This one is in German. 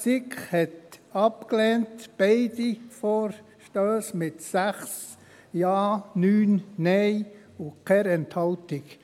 Die SiK lehnte beide Vorstösse mit 6 Ja-, 9 Nein-Stimmen und keiner Enthaltung ab.